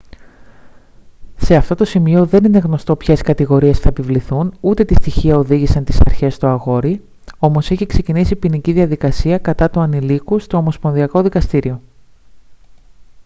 σε αυτό το σημείο δεν είναι γνωστό ποιες κατηγορίες θα επιβληθούν ούτε τι στοιχεία οδήγησαν τις αρχές στο αγόρι όμως έχει ξεκινήσει ποινική διαδικασία κατά του ανηλίκου στο ομοσπονδιακό δικαστήριο